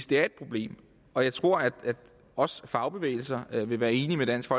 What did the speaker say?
det er et problem og jeg tror at også fagbevægelser vil være enige med dansk